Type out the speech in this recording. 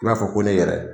I b'a fɔ ko ne yɛrɛ